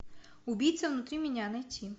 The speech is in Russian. убийца внутри меня найти